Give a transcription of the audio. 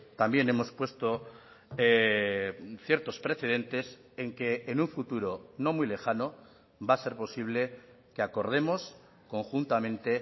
también hemos puesto ciertos precedentes en que en un futuro no muy lejano va a ser posible que acordemos conjuntamente